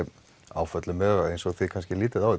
áföll eins og þið kannski lítið á